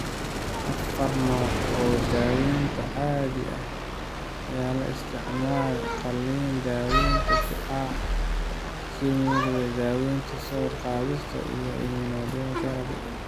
Afar nooc oo daawaynta caadiga ah ayaa la isticmaalaa: qalliin, daawaynta shucaaca, kiimoterabiga, daawaynta sawir-qaadista, iyo immunotherapy.